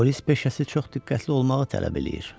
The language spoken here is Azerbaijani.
Polis peşəsi çox diqqətli olmağı tələb eləyir.